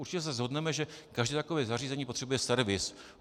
Určitě se shodneme, že každé takové zařízení potřebuje servis.